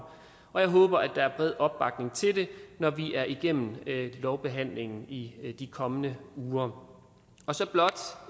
og jeg håber at der er bred opbakning til det når vi er igennem lovbehandlingen i de kommende uger så blot